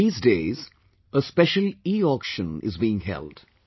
These days, a special Eauction is being held